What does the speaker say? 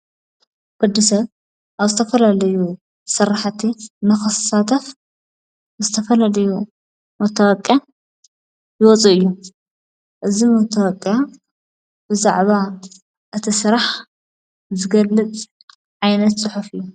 ወዲ ሰት ኣብ ስተፈለልዩ ሠርሕቲ መኸሳተፍ ብስተፈለልዩ ሞተወቅ ይወፁ እዩ እዝ ምተወቀ ብዛዕባ እቲ ሥራሕ ዘገልጽ ዓይነት ጽሑፍ እዩ።